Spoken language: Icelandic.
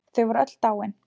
Þau voru öll dáin.